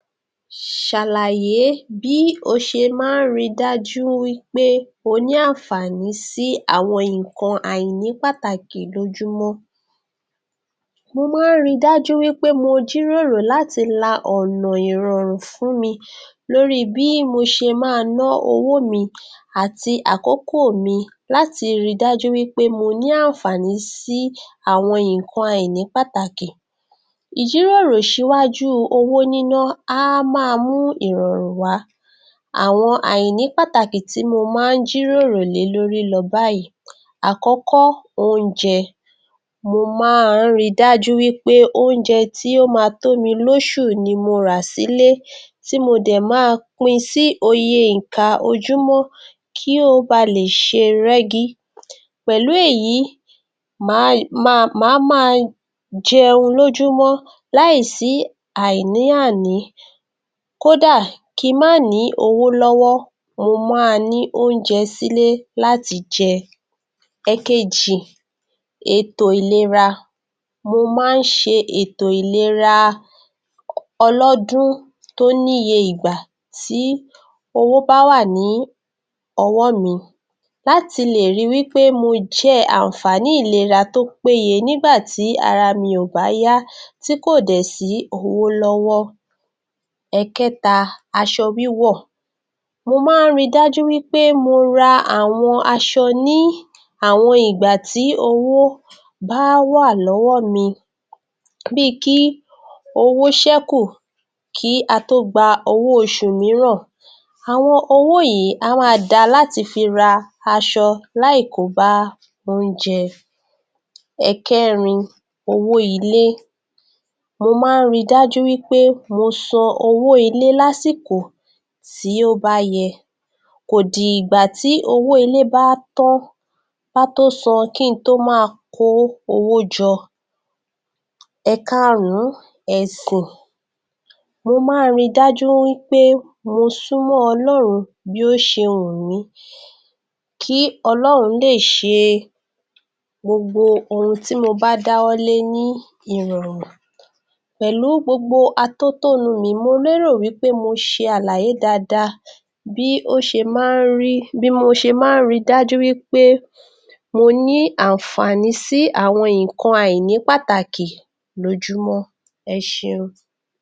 Ṣàlàyé bí o ṣe máa ń ri dájú wí pé o ní àǹfààní sí àwọn nǹkan àìní pàtàkì lójúmọ́. Mo máa ń ri dájú wí pé mo jíròrò láti la ọ̀nà ìrọ̀rùn fún mi lórí bí mo ṣe máa ná owó mi àti àkókò mi, láti ri dájú wí pé mo ní àǹfààní sí àwọn nǹkan àìní pàtàkì. Ìjíròrò ṣíwájú owó níná á máa mú ìrọ̀rùn wá. Àwọn àìní pàtàkì tí mo máa ń jíròrò lé lórí lọ báyìí. Àkọ́kọ́- Oúnjẹ, mo máa ń ri dájú wí pé oúnjẹ tí ó máa tó mi lóṣù ni mo rà sílé tí mo dẹ̀ máa pin sí iye ìka ojúmọ́ kí ó ba lè ṣe rẹ́gí, pẹ̀lú èyí màá máa jẹun lójúmọ́ láì sí àní àní kódà kí n má ní owó lọ́wọ́, mo máa ní oúnjẹ sílé láti jẹ. Ẹ̀kejì-Ètò ìlera: Mo máa ń ṣe ètò ìlera ọlọ́dún tó ní iye ìgbà tí owó bá wà ní ọwọ́ mi láti lè ri wí pé mo jẹ àǹfààní ìlera tó péye nígbà tí ara mi ò bá yá tí kò dẹ̀ sí owó lọ́wọ́. Ẹ̀kẹta- Aṣọ-wíwọ̀: Mo máa ń fri dájú wí pé mo ra àwọn aṣọ ní àwọn ìgbà tí owó bá wà lọ́wọ́ mi, bí i kí owó ṣẹ́kù kí a tó gba owó oṣù mìíràn àwọn owó yìí á wá da láti fi ra aṣọ láì kó bá oúnjẹ. Ẹ̀kẹrin- Owó-ilé: Mo máa ń ri dájú wí pé mo san owó ilé lásìkò tí ó bá yẹ, kò di ìgbà tí owó ilé bá tán kí n tó máa wa kó owó jọ. Ẹ̀karùn-ún- Ẹ̀sìn: Mo máa ń ri dájú wí pé mo súnmọ́ Ọlọ́run bí ó ṣe wù mí, kí Ọlọ́run lè ṣe gbogbo ohun tí mo bá dáwọ́ lé ní ìrọ̀rùn. pẹ̀lú gbogbo atótónu mi, mo lérò wí pé mo ṣe àlàyé dáadáa bí mo ṣe máa ń ri dájú wí pé mo ní àǹfààní sí àwọn nǹkan àìní-pàtàkì lójúmọ́. Ẹ ṣeun.